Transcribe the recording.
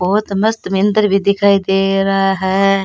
बहुत मस्त मंदिर भी दिखाई दे रहा है।